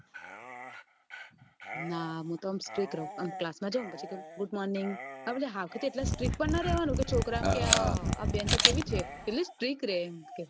ના હું તો આમ strick રવ class માં જાઉં good morning હાવખેથી એટલા strick પણ ના રેવાનું કે છોકરા આમ કે આહ આ બેન તો કેટલી strick રે એમ કે